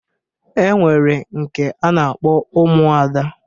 E nwere nke a na-akpọ Ụmụada.